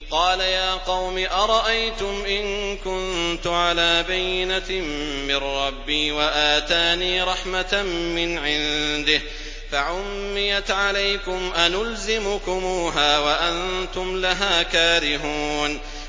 قَالَ يَا قَوْمِ أَرَأَيْتُمْ إِن كُنتُ عَلَىٰ بَيِّنَةٍ مِّن رَّبِّي وَآتَانِي رَحْمَةً مِّنْ عِندِهِ فَعُمِّيَتْ عَلَيْكُمْ أَنُلْزِمُكُمُوهَا وَأَنتُمْ لَهَا كَارِهُونَ